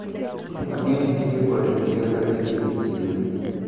Ji mang`eny tiyo kod ndiga kagidhi e chiro.